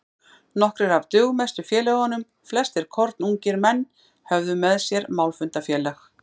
Nokkrir af dugmestu félögunum, flestir kornungir menn, höfðu með sér málfundafélag